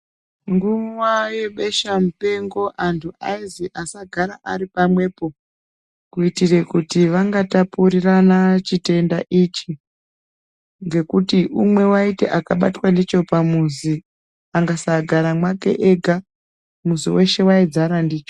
Nguwa yebesha mupengo antu aizi asagare ari pamwepo kuitire kuti vangatapurirana chitenda ichi ngekuti umwe waiti akabatwe ndicho pamuzi angasagare mwake ega muzi weshe waidzare ndicho.